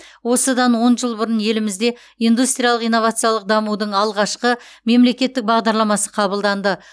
осыдан он жыл бұрын елімізде индустриялық инновациялық дамудың алғашқы мемлекеттік бағдарламасы қабылданды